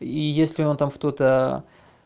и если он там что-то